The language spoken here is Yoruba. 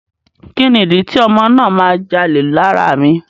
Kíni ìdí tí ọmọ náà a máa jalè lára mi.